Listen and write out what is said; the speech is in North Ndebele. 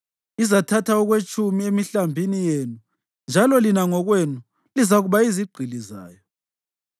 Izathatha okwetshumi emihlambini yenu njalo lina ngokwenu lizakuba yizigqili zayo.